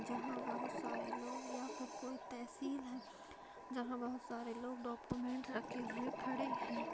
जहाँ बहुत सारे लोग या फिर कोई तहसील है जहाँ बहुत सारे लोग डॉक्युमेंट्स रखे हुए खड़े हैं।